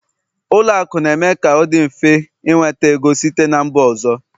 Ụlọ akụ na-eme ka ọ dị mfe ị nweta ego site na mba ọzọ